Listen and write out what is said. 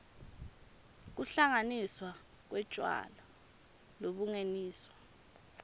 kuhlanganiswa kwetjwala lobungeniswe